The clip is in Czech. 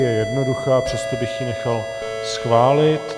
Je jednoduchá, přesto bych jí nechal schválit.